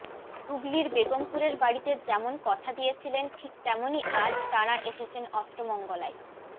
হুগলির বেগমপুরের বাড়িতে যেমন কথা দিয়েছিলেন ঠিক তেমনই আজ তাঁরা এসেছেন অষ্টমঙ্গলায়